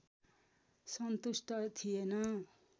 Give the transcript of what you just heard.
सन्तुष्ट थिएन